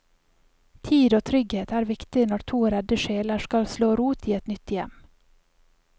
Tid og trygghet er viktig når to redde sjeler skal slå rot i nytt hjem.